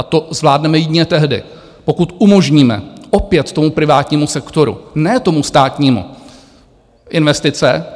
A to zvládneme jedině tehdy, pokud umožníme opět tomu privátnímu sektoru, ne tomu státnímu, investice.